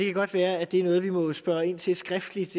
godt være at det er noget vi må spørge ind til skriftligt